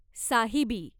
Sahibi